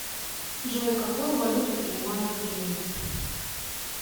джой какую валюту принимают в риме